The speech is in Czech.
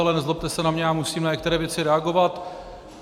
Ale nezlobte se na mě, já musím na některé věci reagovat.